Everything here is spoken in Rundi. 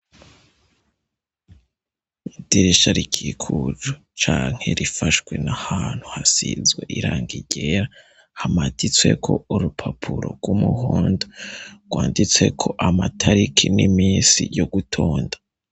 Idirisha rikikujwe cank rifashwe n' ahantu hasizwe irangi ryera, hamaditsweko urupapuro rw' umuhondo, rwanditseko amataliki n' iminsi yo gutonda.